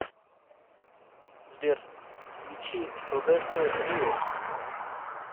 сбер включи роберто риос